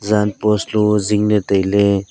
jan post low zingley taile.